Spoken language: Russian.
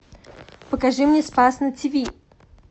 покажи мне спас на тв